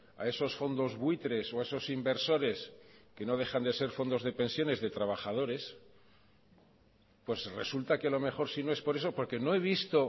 a esos fondos buitres o a esos inversores que no dejan de ser fondos de pensiones de trabajadores pues resulta que a lo mejor si no es por eso porque no he visto